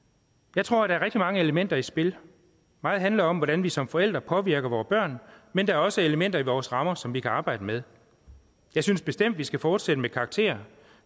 jeg tror der er mange elementer i spil meget handler om hvordan vi som forældre påvirker vore børn men der er også elementer i vores rammer som vi kan arbejde med jeg synes bestemt vi skal fortsætte med karakterer